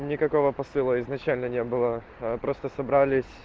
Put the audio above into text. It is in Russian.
никакого посыла изначально не было аа просто собралиь